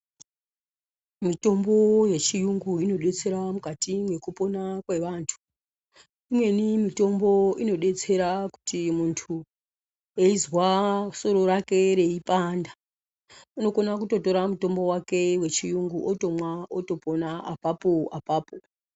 Mitombo yechiyungu inodetsera mukati mwekupona kwevantu. Imweni mitombo inodetsera kuti muntu, eizwa soro rake reipanda, unokona kutotora mitombo wake wechiyungu otomwa ,otopona apapo apapo.